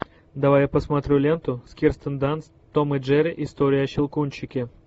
давай я посмотрю ленту с кирстен данст том и джерри история о щелкунчике